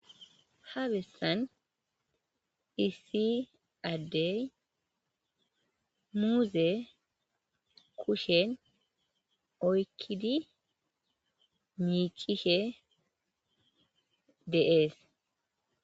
ha bessan issi addey muuze kushen oykkidi miicishe dee'es